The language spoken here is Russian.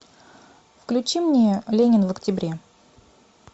включи мне ленин в октябре